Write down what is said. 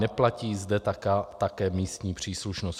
Neplatí zde také místní příslušnost.